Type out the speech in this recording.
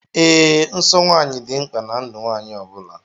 Ee, nsọ nwanyị dị mkpa ná ndụ nwanyị ọbula.